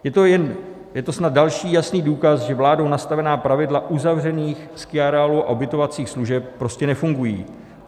Je to snad další jasný důkaz, že vládou nastavená pravidla uzavřených skiareálů a ubytovacích služeb prostě nefungují.